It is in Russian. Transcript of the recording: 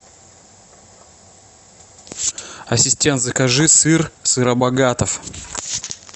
ассистент закажи сыр сыробогатов